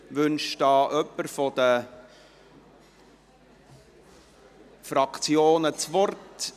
Wünscht hier jemand seitens der Fraktionen das Wort?